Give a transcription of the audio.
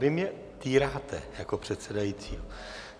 Vy mě týráte jako předsedajícího.